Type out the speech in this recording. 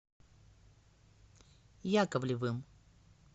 яковлевым